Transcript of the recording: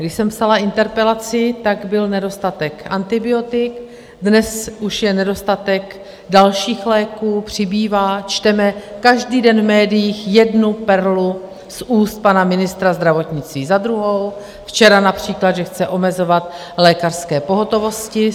Když jsem psala interpelaci, tak byl nedostatek antibiotik, dnes už je nedostatek dalších léků, přibývá, čteme každý den v médiích jednu perlu z úst pana ministra zdravotnictví za druhou, včera například, že chce omezovat lékařské pohotovosti.